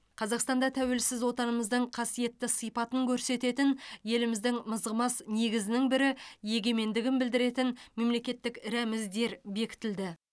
қазақстанда тәуелсіз отанымыздың қасиетті сипатын көрсететін еліміздің мызғымас негізінің бірі егемендігін білдіретін мемлекеттік рәміздер бекітілді